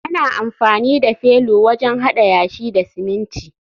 ana amfani da felu wajen hada yashi da siminti